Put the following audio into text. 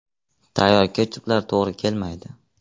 Tayyor ketchuplar to‘g‘ri kelmaydi.